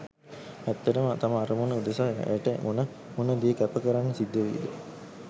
ඇත්තටම තම අරමුණ උදෙසා ඇයට මොන මොන දේ කැප කරන්න සිද්ධවෙයි ද?